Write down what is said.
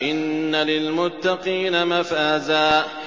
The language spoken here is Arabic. إِنَّ لِلْمُتَّقِينَ مَفَازًا